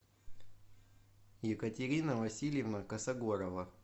екатерина васильевна косогорова